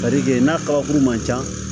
n'a ka kabakuru man ca